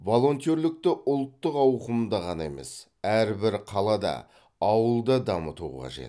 волонтерлікті ұлттық ауқымда ғана емес әрбір қалада ауылда дамыту қажет